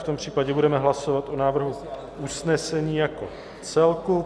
V tom případě budeme hlasovat o návrhu usnesení jako celku.